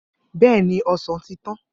Bẹẹni, osan ti tan.